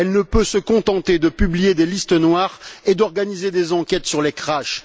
Elle ne peut se contenter de publier des listes noires et d'organiser des enquêtes sur les crashs.